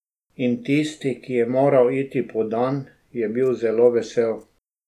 In tisti, ki je moral iti po dan, je bil zelo vesel.